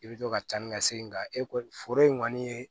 I bɛ to ka carin ka segi nka e ko foro in kɔni ye